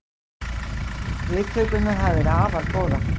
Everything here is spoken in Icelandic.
Viðtökurnar hafa verið afar góðar